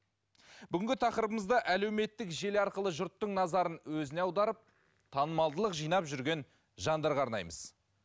бүгінгі тақырыбымызда әлеуметтік желі арқылы жұрттың назарын өзіне аударып танымалдылық жинап жүрген жандарға арнаймыз